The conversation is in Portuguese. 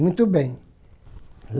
Muito bem.